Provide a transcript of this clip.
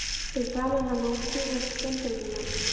Fyrir framan hana kútveltust Bandaríkjamenn og